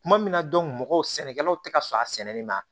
Kuma min na mɔgɔw sɛnɛkɛlaw tɛ ka sɔn a sɛnɛli ma